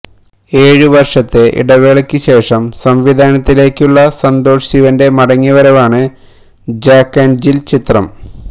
ഏഴ് വര്ഷത്തെ ഇടവേളക്ക് ശേഷം സംവിധാനത്തിലേക്കുള്ള സന്തോഷ് ശിവന്റെ മടങ്ങി വരവാണ് ജാക്ക് ആന്ഡ് ജില് ചിത്രം